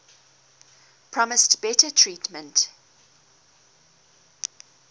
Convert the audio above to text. promised better treatment